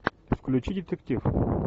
включи детектив